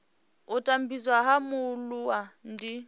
u tambudzwa ha mualuwa ndi